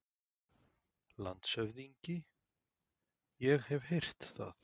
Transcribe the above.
LANDSHÖFÐINGI: Ég hef heyrt það.